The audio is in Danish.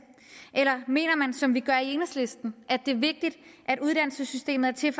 eller mener man som vi gør i enhedslisten at det er vigtigt at uddannelsessystemet er til